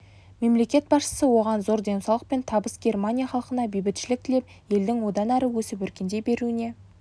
мемлекет басшысы оған зор денсаулық пен табыс германия халқына бейбітшілік тілеп елдің одан әрі өсіп-өркендей беруіне